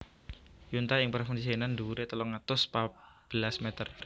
Yuntai ing Provinsi Henan dhuwuré telung atus pat belas mèter